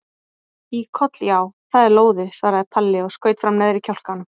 Í koll já, það er lóðið, svaraði Palli og skaut fram neðri kjálkanum.